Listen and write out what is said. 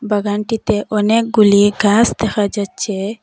বাগানটিতে অনেকগুলি গাস দেখা যাচ্ছে।